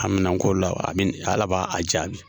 Amina ko law, amine ala b'a a jaabi.